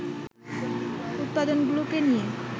উপাদানগুলোকে নিয়ে